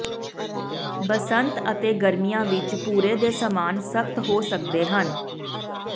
ਬਸੰਤ ਅਤੇ ਗਰਮੀਆਂ ਵਿੱਚ ਭੂਰੇ ਦੇ ਸਮਾਨ ਸਖਤ ਹੋ ਸਕਦੇ ਹਨ